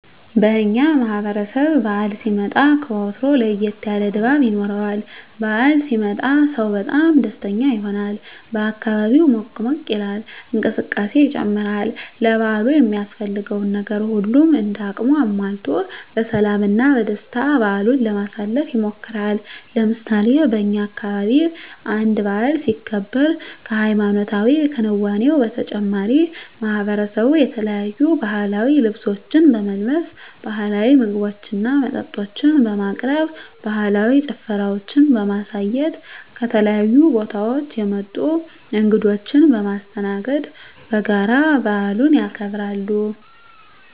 በእኛ ማህበረሰብ በዓል ሲመጣ ከወትሮው ለየት ያለ ድባብ ይኖረዋል። በዓል ሲመጣ ሰው በጣም ደስተኛ ይሆናል፣ አካባቢው ሞቅ ሞቅ ይላል፣ እንቅስቃሴ ይጨምራል፣ ለበዓሉ የሚያስፈልገውን ነገር ሁሉም እንደ አቅሙ አሟልቶ በሰላም እና በደስታ በዓሉን ለማሳለፍ ይሞክራል። ለምሳሌ በእኛ አካባቢ አንድ በዓል ሲከበር ከሀይማኖታዊ ክንዋኔው በተጨማሪ ማሕበረሰቡ የተለያዩ ባህላዊ ልብሶችን በመልበስ፣ ባህላዊ ምግቦችና መጠጦችን በማቅረብ፣ ባህላዊ ጭፈራዎችን በማሳየት፣ ከተለያዩ ቦታወች የመጡ እንግዶችን በማስተናገድ በጋራ በዓሉን ያከብራሉ።